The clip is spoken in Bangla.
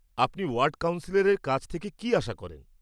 আপনি ওয়ার্ড কাউন্সিলরের কাছ থেকে কী আশা করেন?